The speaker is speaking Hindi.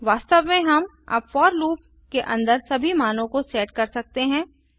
वास्तव में हम अब फोर लूप के अन्दर सभी मानों को सेट कर सकते हैं